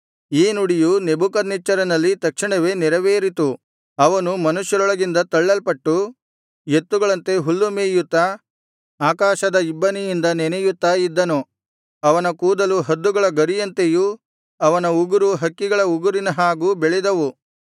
ಈ ನುಡಿಯು ನೆಬೂಕದ್ನೆಚ್ಚರನಲ್ಲಿ ತಕ್ಷಣವೇ ನೆರವೇರಿತು ಅವನು ಮನುಷ್ಯರೊಳಗಿಂದ ತಳ್ಳಲ್ಪಟ್ಟು ಎತ್ತುಗಳಂತೆ ಹುಲ್ಲು ಮೇಯುತ್ತಾ ಆಕಾಶದ ಇಬ್ಬನಿಯಿಂದ ನೆನೆಯುತ್ತಾ ಇದ್ದನು ಅವನ ಕೂದಲು ಹದ್ದುಗಳ ಗರಿಯಂತೆಯೂ ಅವನ ಉಗುರು ಹಕ್ಕಿಗಳ ಉಗುರಿನ ಹಾಗೂ ಬೆಳೆದವು